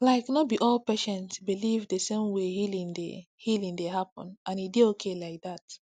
like no be all patients believe the same way healing dey healing dey happen and e dey okay like that